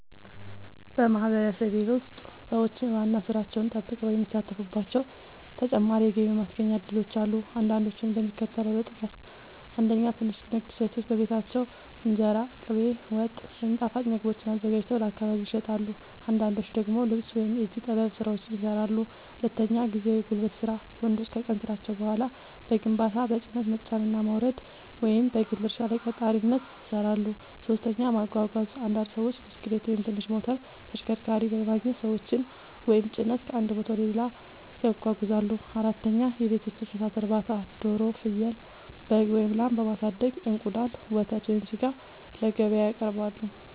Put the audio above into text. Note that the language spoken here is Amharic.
በማህበረሰቤ ውስጥ ሰዎች ዋና ሥራቸውን ጠብቀው የሚሳተፉባቸው ተጨማሪ የገቢ ማስገኛ እድሎች አሉ። አንዳንዶቹን እንደሚከተለው ልጠቅስ፦ 1. ትንሽ ንግድ – ሴቶች በቤታቸው እንጀራ፣ ቅቤ፣ ወጥ ወይም ጣፋጭ ምግቦችን አዘጋጅተው ለአካባቢ ይሸጣሉ። አንዳንዶች ደግሞ ልብስ ወይም የእጅ ጥበብ ሥራዎችን ይሠራሉ። 2. ጊዜያዊ የጉልበት ሥራ – ወንዶች ከቀን ሥራቸው በኋላ በግንባታ፣ በጭነት መጫንና ማውረድ፣ ወይም በግል እርሻ ላይ ቀጣሪነት ይሠራሉ። 3. ማጓጓዝ – አንዳንድ ሰዎች ብስክሌት ወይም ትንሽ ሞተር ተሽከርካሪ በማግኘት ሰዎችን ወይም ጭነት ከአንድ ቦታ ወደ ሌላ ያጓጉዛሉ። 4. የቤት ውስጥ እንስሳት እርባታ – ዶሮ፣ ፍየል፣ በግ ወይም ላም በማሳደግ እንቁላል፣ ወተት ወይም ሥጋ ለገበያ ያቀርባሉ።